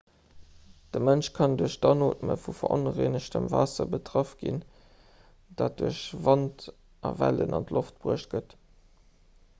de mënsch kann duerch d'anootme vu veronrengegtem waasser betraff ginn dat duerch wand a wellen an d'loft bruecht gëtt